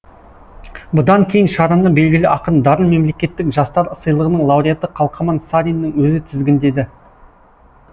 бұдан кейін шараны белгілі ақын дарын мемлекеттік жастар сыйлығының лауреаты қалқаман сариннің өзі тізгіндеді